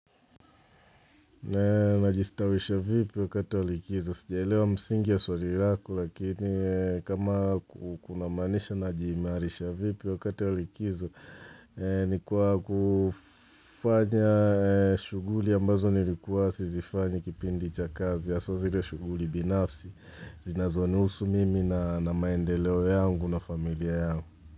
Unajistawisha vipi wakati walikizo? Sijaelewa msingi ya swali lako lakini kama ku kunamaanisha najimairisha vipi wakati walikizo. Ni kwa kufanya shughuli ambazo nilikuwa sizifanyi kipindi cha kazi. Haswa zile shughuli binafsi zinazonihusu mimi na maendeleo yangu na familia yangu.